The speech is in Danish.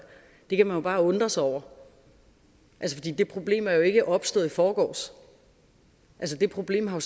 det kan man jo bare undre sig over det problem er ikke opstået i forgårs det problem har